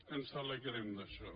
ens alegrem d’això